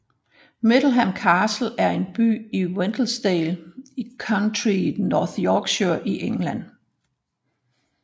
Middleham Castle er en borg i Wensleydale i countyet North Yorkshire i England